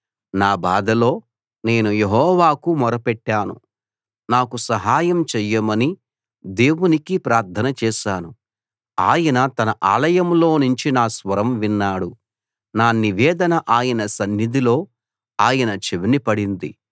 నా బాధలో నేను యెహోవాకు మొరపెట్టాను నాకు సహాయం చెయ్యమని దేవునికి ప్రార్థన చేశాను ఆయన తన ఆలయంలోనుంచి నా స్వరం విన్నాడు నా నివేదన ఆయన సన్నిధిలో ఆయన చెవిన పడింది